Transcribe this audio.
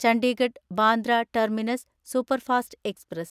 Chandigarh Bandra terminus superfast express